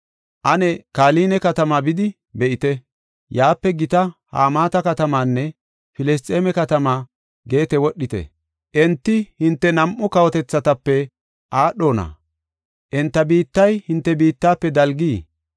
Ane Kaline katamaa bidi be7ite. Yaape gita Hamaata katamaanne Filisxeeme katamaa Geete wodhite. Enti hinte nam7u kawotethatape aadhona? Enta biittay hinte biittafe dalgii?